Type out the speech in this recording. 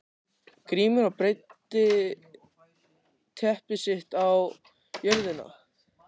Grímur og breiddi teppi sitt á jörðina.